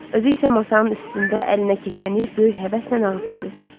Özü isə masanın üstündə əlinə keçəni böyük həvəslə ağzına dötdürdü.